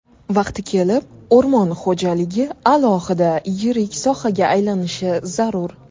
Vaqti kelib, o‘rmon xo‘jaligi alohida yirik sohaga aylanishi zarur.